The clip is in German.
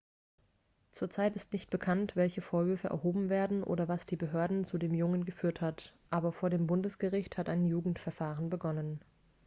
zur zeit ist nicht bekannt welche vorwürfe erhoben werden oder was die behörden zu dem jungen geführt hat aber vor dem bundesgericht hat ein jugendverfahren begonnen